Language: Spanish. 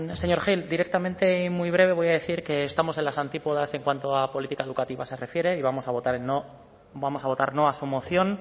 señor gil directamente y muy breve voy a decir que estamos en las antípodas en cuanto a política educativa se refiere y vamos a votar no a su moción